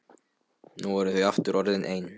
Nú voru þau aftur orðin ein.